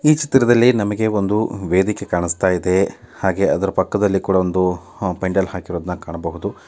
ಈ ಚಿತ್ರದಲ್ಲಿ ನಮಗೆ ಒಂದು ವೇದಿಕೆ ಕಾಣುಸ್ತಾ ಇದೆ ಹಾಗೆ ಅದರ ಪಕ್ಕದಲ್ಲಿ ಕೂಡ ಒಂದು ಪೆಂಡಾಲ್ ಹಾಕಿರೋದನ್ನ ಕಾಣ್ಬೊಹುದು.